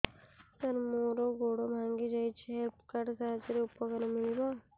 ସାର ମୋର ଗୋଡ଼ ଭାଙ୍ଗି ଯାଇଛି ହେଲ୍ଥ କାର୍ଡ ସାହାଯ୍ୟରେ ଉପକାର ମିଳିବ